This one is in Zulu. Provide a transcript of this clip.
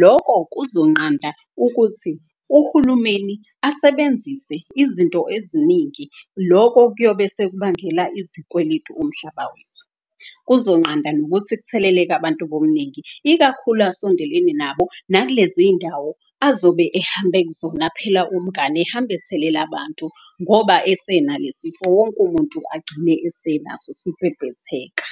Loko kuzonqanda ukuthi uhulumeni asebenzise izinto eziningi. Loko kuyobe sekubangela izikweletu umhlaba wethu, kuzonqanda nokuthi kutheleleke abantu bomningi. Ikakhulu asondelene nabo nakulezi iyindawo azobe ehambe kuzona phela umngani ehambe ethelela abantu. Ngoba esena le sifo, wonke umuntu agcine usenaso, sibhebhetheka.